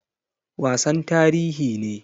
Wasan tarihi ne.